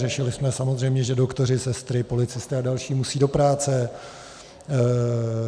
Řešili jsme samozřejmě, že doktoři, sestry, policisté a další musejí do práce.